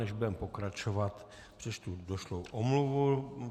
Než budeme pokračovat, přečtu došlou omluvu.